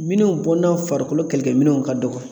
Minnu bɔnna farikolo kɛlɛkɛminɛnw ka dɔgɔ.